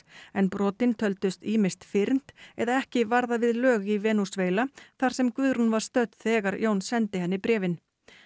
en brotin töldust ýmist fyrnd eða ekki varða við lög í Venesúela þar sem Guðrún var stödd þegar Jón sendi henni bréfin